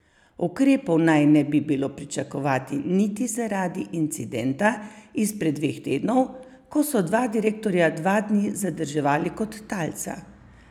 Ukrepov naj ne bi bilo pričakovati niti zaradi incidenta izpred dveh tednov, ko so dva direktorja dva dni zadrževali kot talca.